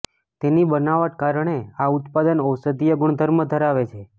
તેની બનાવટ કારણે આ ઉત્પાદન ઔષધીય ગુણધર્મો ધરાવે છે